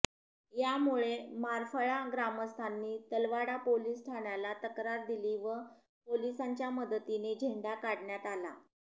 यामुळे मारफळा ग्रामस्थांनी तलवाडा पोलीस ठाण्याला तक्रार दिली व पोलिसांच्या मदतीने झेंडा काढण्यात आला